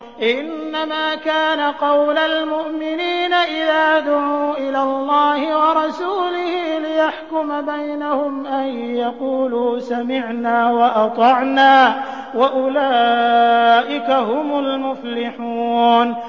إِنَّمَا كَانَ قَوْلَ الْمُؤْمِنِينَ إِذَا دُعُوا إِلَى اللَّهِ وَرَسُولِهِ لِيَحْكُمَ بَيْنَهُمْ أَن يَقُولُوا سَمِعْنَا وَأَطَعْنَا ۚ وَأُولَٰئِكَ هُمُ الْمُفْلِحُونَ